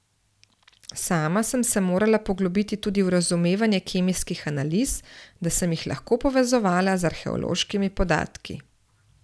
Sama sem se morala poglobiti tudi v razumevanje kemijskih analiz, da sem jih lahko povezovala z arheološkimi podatki.